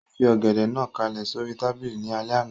Ó fi Ọ̀gẹ̀dẹ̀ náà kálẹ̀ sóri tábìlì ní alẹ́ àná